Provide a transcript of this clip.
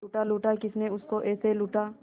लूटा लूटा किसने उसको ऐसे लूटा